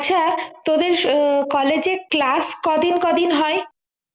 আচ্ছা তোদের college এ class কদিন কদিন হয়